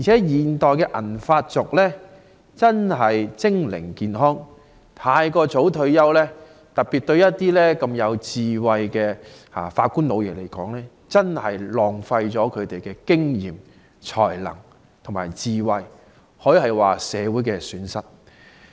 現代的銀髮族精靈健康，尤其對一些有智慧的法官"老爺"而言，太早退休真的浪費了他們的經驗、才能和智慧，可說是社會的損失。